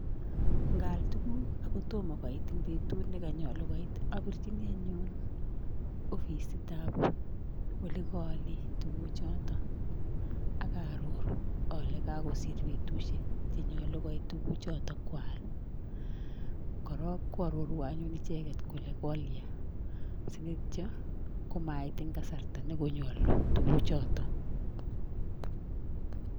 Nkaal tuguk akotomo koit eng betut nekanyolu koit apirchini anyun ofisitap olekaale tuguchoto akaaroru ale kakosir betushek chenyolu koit tuguchoto kwaal, korok koarorwa anyun icheket kole kolya ko mait eng kasarta nekonyolu tuguchoto.